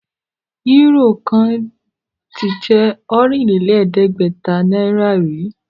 Euro kan tí je Ọ̀rìnlẹ̀ẹ́dẹ́gbẹ̀ta náírà rí